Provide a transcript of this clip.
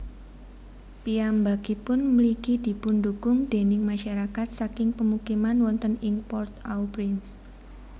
Piyambakipun mligi dipundhukung déning masyarakat saking pemukiman wonten ing Port au Prince